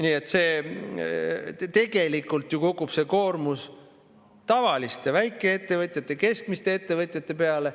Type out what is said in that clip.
Nii et tegelikult ju kukub see koormus tavaliste, väikeettevõtjate ja keskmiste ettevõtjate peale.